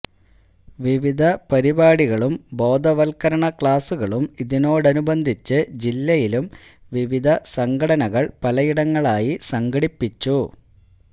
വിവിധ പരിപാടികളും ബോധവത്കരണ ക്ളാസുകളും ഇതോടനുബന്ധിച്ച് ജില്ലയിലും വിവിധ സംഘടനകള് പലയിടങ്ങളിലായി സംഘടിപ്പിച്ചു